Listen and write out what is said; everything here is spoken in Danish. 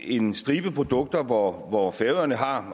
en stribe produkter hvor hvor færøerne har